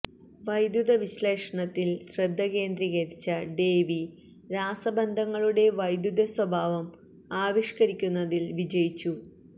വൈദ്യുത വിശ്ളേഷണത്തിൽ ശ്രദ്ധ കേന്ദ്രീകരിച്ച ഡേവി രാസബന്ധങ്ങളുടെ വൈദ്യുത സ്വഭാവം ആവിഷ്കരിക്കുന്നതിൽ വിജയിച്ചു